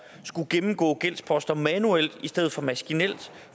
skulle gennemgå gældsposter manuelt i stedet for maskinelt